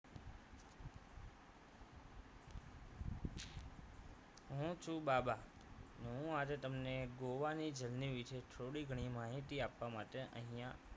હું છું બાબા હું આજે તમને ગોવાની journey વિશે થોડી ઘણી માહિતી આપવા માટે અહીંયા